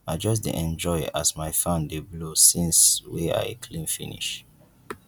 i just dey enjoy as my fan dey blow since wey i clean finish